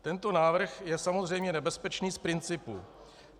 Tento návrh je samozřejmě nebezpečný z principu.